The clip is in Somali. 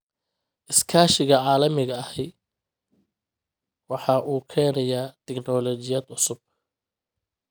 Iskaashiga caalamiga ahi waxa uu keenayaa tignoolajiyad cusub.